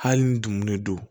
Hali ni dugumun le don